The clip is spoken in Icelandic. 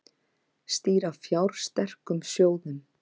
Stýra fjársterkum sjóðum